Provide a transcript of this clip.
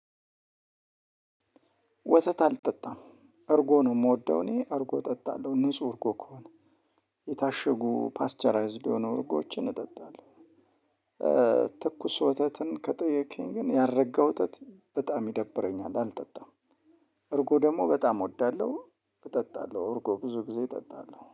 ወተት አልጠጣም እርጎ ነው ምወደው እኔ እርጎ እጠጣለው ንጽህ ከሆነ የታሸጉ ፓስቸራይዝድ የሆነው እርጎችን እጠጣለሁ። ትኩስ ወተትን ከጠየከኝ ግን ያረጋ ወተት በጣም ይደብረኛል አልጠጣም። እርጎ ደግሞ በጣም እወዳለሁ እጠጣለሁ እርጎ ብዙ ጊዜ እጠጣለሁ